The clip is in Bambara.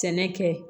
Sɛnɛ kɛ